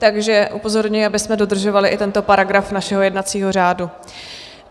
Takže upozorňuji, abychom dodržovali i tento paragraf našeho jednacího řádu.